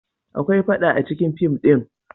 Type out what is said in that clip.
Akwai faɗa acikin fim din.